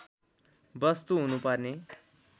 वस्तु हुनु पर्ने